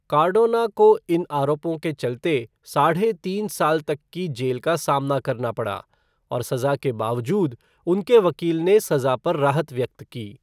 Cardona को इन आरोपों के चलते साढ़े तीन साल तक की जेल का सामना करना पड़ा और सज़ा के बावजूद उनके वकील ने सज़ा पर राहत व्यक्त की।